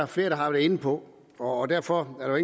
flere der har været inde på og derfor er der